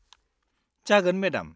जागोन मेडाम।